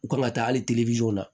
U kan ka taa hali la